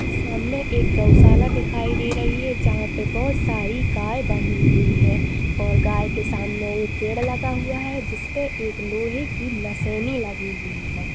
सामने एक गौशाला दिखाई दे रही है जहाँ पे बहुत सारी गाय बंधी हुई है और गाय के सामने एक पेड़ लगा हुआ है जिसपे एक लोहे की नसेनी लगी हुई है।